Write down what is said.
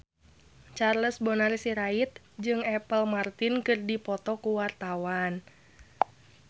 Charles Bonar Sirait jeung Apple Martin keur dipoto ku wartawan